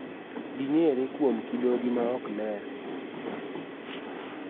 Ging�ere kuom kidogi ma ok ler.